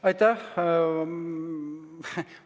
Aitäh!